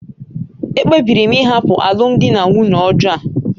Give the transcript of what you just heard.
Ekpebiri m ịhapụ alụmdi na nwunye ọjọọ a